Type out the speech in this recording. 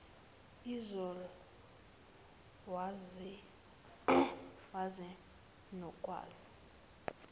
zol wazi nokwazi